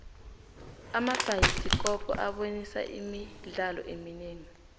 amabhayisikopo abonisa imidlalo eminingi